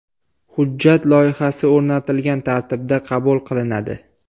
Hujjat loyihasi o‘rnatilgan tartibda qabul qilinadi.